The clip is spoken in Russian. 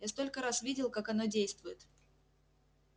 я столько раз видел как оно действует